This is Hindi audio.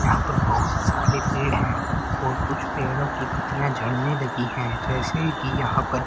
यहां पर बहुत सारे पेड़ हैं और कुछ पेड़ों की पत्तियां झड़ने लगी है जैसे कि यहां पर--